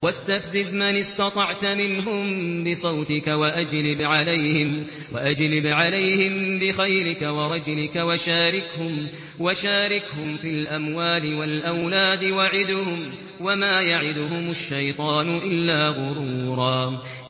وَاسْتَفْزِزْ مَنِ اسْتَطَعْتَ مِنْهُم بِصَوْتِكَ وَأَجْلِبْ عَلَيْهِم بِخَيْلِكَ وَرَجِلِكَ وَشَارِكْهُمْ فِي الْأَمْوَالِ وَالْأَوْلَادِ وَعِدْهُمْ ۚ وَمَا يَعِدُهُمُ الشَّيْطَانُ إِلَّا غُرُورًا